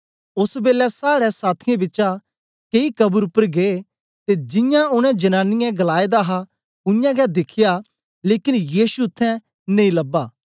ओस बेलै साड़े साथियें बिचा कई कब्र उपर गै ते जियां उनै जनांनीयें गलाएदा हा उयांगै दिखया लेकन यीशु उत्थें नेई लबा